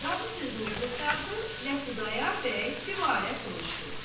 Qazı sözünü qurtardı və Xudayar bəy dübarə soruşdu.